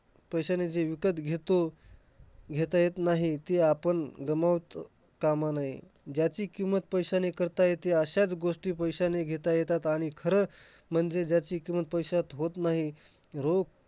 पैशाने जे विकत घेतो घेता येत नाही. ते आपण गमावत कामा नये. ज्याची किंमत पैशाने करता येते अश्याच गोष्टी पैशाने घेता येतात. आणि खरं म्हणजे ज्याची किंमत पैशात होत नाही, रो